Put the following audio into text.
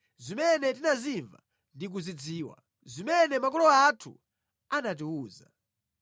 zimene tinazimva ndi kuzidziwa, zimene makolo athu anatiwuza.